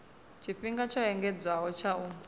tshifhinga tsho engedzedzwaho tsha u